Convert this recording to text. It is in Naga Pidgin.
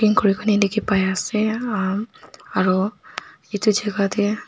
diki pai asae emm aro etu jaka dae.